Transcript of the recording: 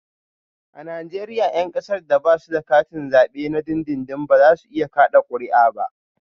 A Najeriya 'yan kasar da ba su da katin zabe na dindindin ba za su iya kada kuri'a ba